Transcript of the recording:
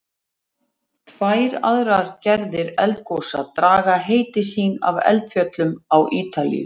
Tvær aðrar gerðir eldgosa draga heiti sín af eldfjöllum á Ítalíu.